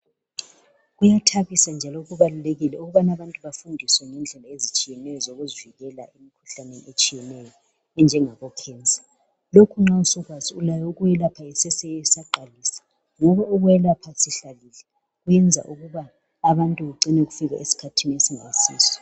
Kuyathabisa njalo kubalulekile ukubana abantu bafundiswe ngendlela ezitshiyeneyo zokuzivikela emikhuhlaneni etshiyeneyo enjengabocancer lokhu nxa sukwazi ulayo ukuyelapha isese isaqalisa ngoba ukwelapha isihlalile kwenza ukuba abantu bagcine kufika esikhathini esingayisiso.